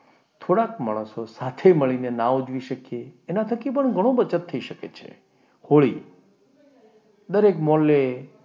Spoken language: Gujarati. થોડાક માણસો સાથે મળીને ના ઉજવી શકીએ એના થકી પણ ઘણો બચત થઈ શકે છે. હોળી દરેક મહોલ્લે,